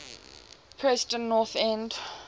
preston north end